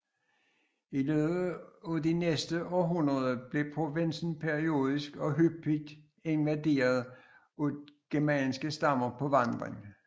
I løbet af de næste århundreder blev provinsen periodisk og hyppig invaderet af germanske stammer på vandring